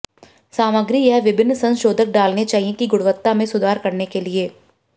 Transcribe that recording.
सामग्री यह विभिन्न संशोधक डालने चाहिए की गुणवत्ता में सुधार करने के लिए